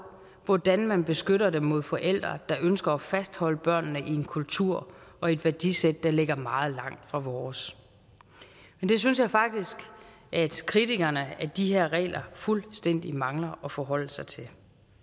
hvordan man beskytter dem mod forældre der ønsker at fastholde børnene i en kultur og i et værdisæt der ligger meget langt fra vores men det synes jeg faktisk at kritikerne af de her regler fuldstændig mangler at forholde sig til